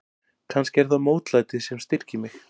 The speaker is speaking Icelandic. Kannski er það mótlætið sem styrkir mig.